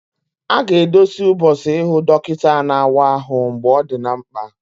Ọ ga-edozi ụbọchị ịhụ dọkịta na-awa ahụ mgbe ọ dị mkpa